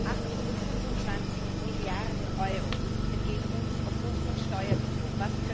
825 Milliarden Euro entgehen uns aufgrund von Steuerbetrug.